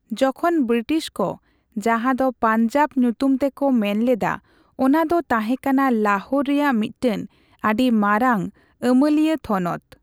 ᱡᱚᱠᱷᱚᱱ ᱵᱨᱤᱴᱤᱥ ᱠᱚ ᱡᱟᱦᱟᱸ ᱫᱚ ᱯᱟᱧᱡᱟᱵᱽ ᱧᱩᱛᱩᱢ ᱛᱮᱠᱚ ᱢᱮᱱᱞᱮᱫᱟ ᱚᱱᱟ ᱫᱚ ᱛᱟᱦᱮᱸ ᱠᱟᱱᱟ ᱞᱟᱦᱳᱨ ᱨᱮᱭᱟᱜ ᱢᱤᱫᱴᱟᱝ ᱟᱹᱰᱤ ᱢᱟᱨᱟᱝ ᱟᱢᱟᱹᱞᱤᱭᱟᱹ ᱛᱷᱚᱱᱚᱛ ᱾